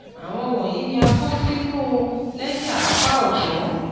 áwọn wọ̀nyìí ni a kọ sí inu lẹ́jà apá ọ̀tún